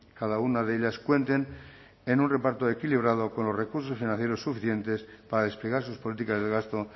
cada una de ellas cuenten en un reparto equilibrado con los recursos financieros suficientes para desplegar sus políticas de gasto